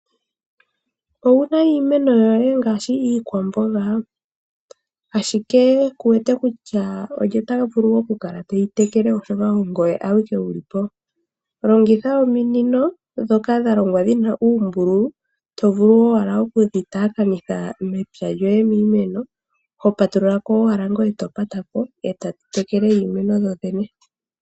Owu na iimeno yoye ngaashi iikwamboga, ashike ku wete kutya olye ta vulu okukala te yi tekele, oshoka ongoye awike wu li po? Longitha ominino ndhoka dha longwa dhi na uumbululu, to vulu owala oku dhi taakanitha mepya lyoye miimeno, ho patulula ko owala ngoye to pata ko, e tadhi tekele iimeno dho dhene.